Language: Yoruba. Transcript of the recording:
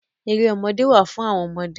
Erémọdé wá fún àwọn ọmọdé.